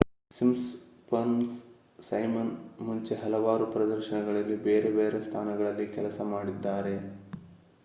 Simpsons Simon ಮುಂಚೆ ಹಲವಾರು ಪ್ರದರ್ಶನಗಳಲ್ಲಿ ಬೇರೆ ಬೇರೆ ಸ್ಥಾನಗಳಲ್ಲಿ ಕೆಲಸ ಮಾಡಿದ್ದಾರೆ